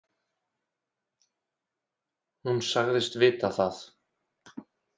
Hún sagðist vita það.